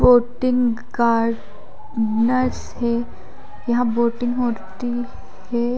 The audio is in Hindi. बोंटिंग गार्ड नर्स है यहां बोंटिंग होती हैं।